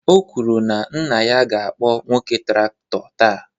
O kwuru na nna ya ga-akpọ nwoke traktọ taa.